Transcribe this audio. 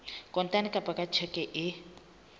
kontane kapa ka tjheke e